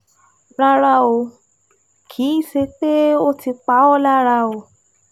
Rárá o, kì í ṣe pé ó ti pa ọ́ lára